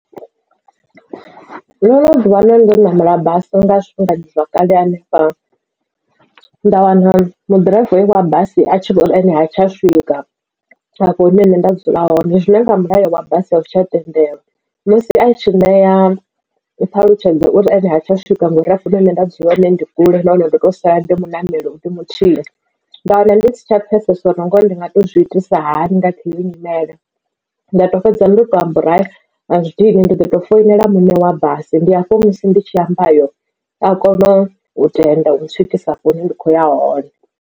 Ndo no ḓivha na ndo namela basi nga zwifhingani zwakale hanefha nda wana ḓiraiva wa basi a tshi vhori ene ha tsha swika afho hune nṋe nda dzula hone zwine nga mulayo wa basi azwi tsha tendelwa. Musi a tshi ṋea ṱhalutshedzo uri ene ha tsha swika ngauri afho hune nda dzula hone ndi kule nahone ndo to sala ndi muṋameli ndi muthihi nda wana ndi si tsha pfesesa uri ngori ndi nga to zwi itisa hani kha iyi nyimele nda fhedza ndo to amba uri hai azwi dini ndi ḓoto foinela muṋe wa basi ndi afho musi ndi tshi amba ayo a kona u tenda u swikisa afho hune ndi khou ya hone.